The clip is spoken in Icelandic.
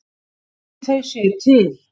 Ætli þau séu til?